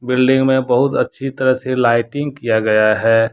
Building में बहुत अच्छी तरह से लाइटिंग किया गया है।